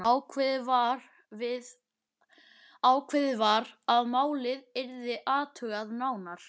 Ákveðið var að málið yrði athugað nánar.